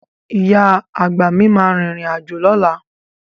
Ìyá àgbà mi máa rìnrìn àjò lọ́la.